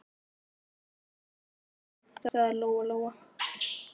Ég skal taka hann, afi minn, sagði Lóa-Lóa.